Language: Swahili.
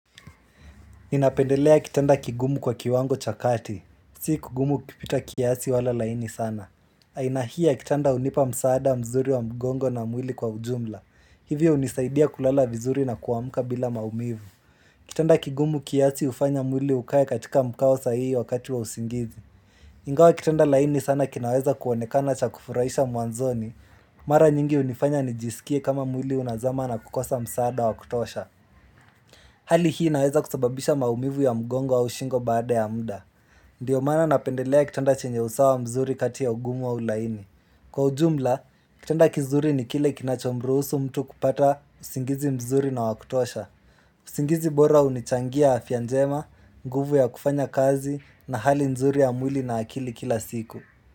Ninapendelea kitanda kigumu kwa kiwango cha kati. Si kigumu kupita kiasi wala laini sana. Aina hii ya kitanda hunipa msaada mzuri wa mgongo na mwili kwa ujumla. Hivyo hunisaidia kulala vizuri na kuamka bila maumivu. Kitanda kigumu kiasi hufanya mwili ukae katika mkao sahihi wakati wa usingizi. Ingawa kitanda laini sana kinaweza kuonekana cha kufurahisha mwanzoni. Mara nyingi hunifanya nijisikie kama mwili unazama na kukosa msaada wa kutosha. Hali hii inaweza kusababisha maumivu ya mgongo au shingo baada ya muda. Ndio mana napendelea kitanda chenye usawa mzuri kati ya ugumu au laini. Kwa ujumla, kitanda kizuri ni kile kinachomruhusu mtu kupata usingizi mzuri na wakutosha. Usingizi bora hunichangia afya njema, nguvu ya kufanya kazi na hali nzuri ya mwili na akili kila siku.